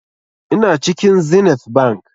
Ina cikin zenith bank